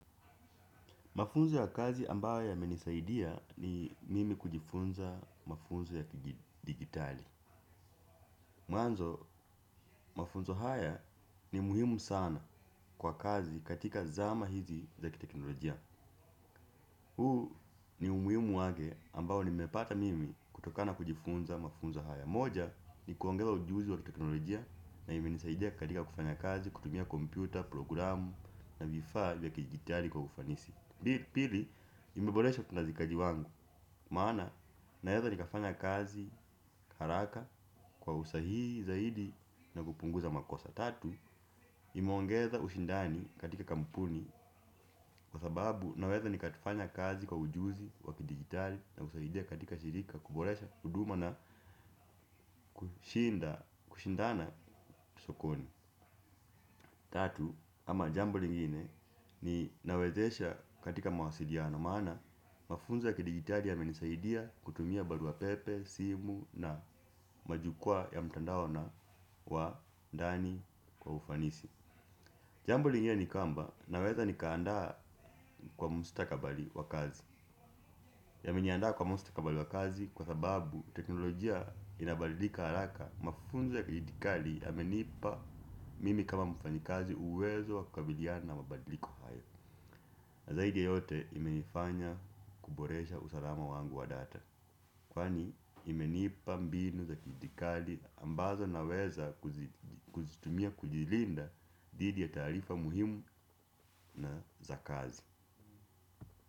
Mafunzo ya kazi ambayo yamenisaidia ni mimi kujifunza mafunzo ya kijidigitali. Mwanzo, mafunzo haya ni muhimu sana kwa kazi katika zama hizi za kiteknolojia. Huu ni umuhimu wake ambao nimepata mimi kutokana na kujifunza mafunzo haya. Moja ni kuongeza ujuzi wa kiteknolojia na imenisaidia katika kufanya kazi, kutumia kompyuta, programu na vifaa vya kijidigitali kwa ufanisi. Pili, imeboresha utendaji kazi wangu, maana naweza nikafanya kazi haraka kwa usahii zaidi na kupunguza makosa. Tatu, imeongeza ushindani katika kampuni kwa sababu naweza nikafanya kazi kwa ujuzi wa kidigitali na husaidia katika shirika kuboresha huduma na kushindana sokoni. Tatu, ama jambo lingine ni inawezesha katika mawasiliano maana mafunzo ya kidigitali yamenisaidia kutumia barua pepe, simu na majukwaa ya mtandao na wa ndani kwa ufanisi jambo lingine ni kwamba naweza nikaandaa kwa mstakabali wa kazi. Yameniandaa kwa mstakabali wa kazi kwa sababu teknolojia inabadilika haraka mafunzo ya kidigitali yamenipa mimi kama mfanyikazi uwezo wa kukabiliana na mabadliko haya na zaidi yote imenifanya kuboresha usalama wangu wa data kwani imenipa mbinu za kidigitali ambazo naweza kuzitumia kujilinda dhidi ya taarifa muhimu na za kazi.